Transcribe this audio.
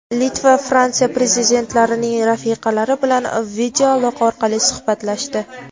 Litva va Fransiya Prezidentlarining rafiqalari bilan videoaloqa orqali suhbatlashdi.